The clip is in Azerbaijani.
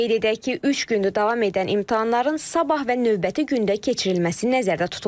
Qeyd edək ki, üç gündür davam edən imtahanların sabah və növbəti gündə keçirilməsi nəzərdə tutulub.